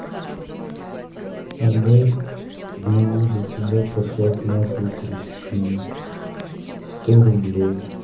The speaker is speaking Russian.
адель могу за тебя послать нахуй кристину сто рублей